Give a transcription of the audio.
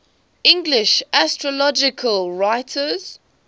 english astrological writers